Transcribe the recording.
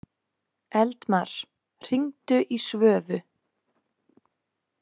Eldmar, hringdu í Svövu.